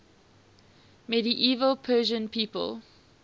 medieval persian people